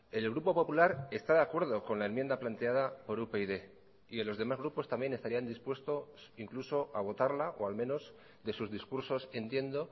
el grupo popular está de acuerdo con la enmienda planteada por upyd y en los demás grupos también estarían dispuestos incluso a votarla o al menos de sus discursos entiendo